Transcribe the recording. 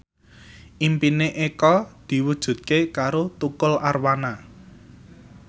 impine Eko diwujudke karo Tukul Arwana